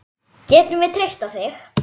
Getum við treyst á þig?